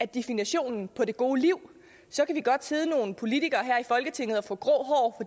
definitionen på det gode liv så kan vi godt sidde nogle politikere her i folketinget og få grå hår